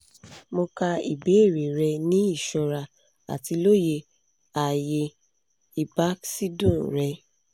mo ka ibeere rẹ ni iṣọra ati loye aaye ibakẹdun rẹ